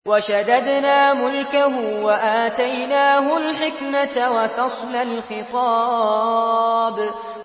وَشَدَدْنَا مُلْكَهُ وَآتَيْنَاهُ الْحِكْمَةَ وَفَصْلَ الْخِطَابِ